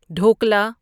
dhokla